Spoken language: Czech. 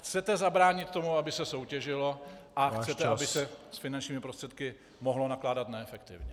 Chcete zabránit tomu, aby se soutěžilo , a chcete, aby se s finančními prostředky mohlo nakládat neefektivně.